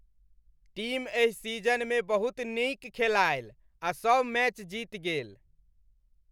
Team एहि सीजनमे बहुत नीक खेलायल आ सभ मैच जीति गेल।